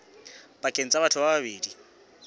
pakeng tsa batho ba babedi